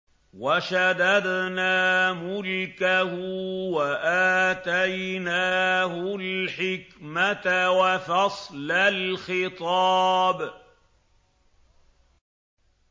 وَشَدَدْنَا مُلْكَهُ وَآتَيْنَاهُ الْحِكْمَةَ وَفَصْلَ الْخِطَابِ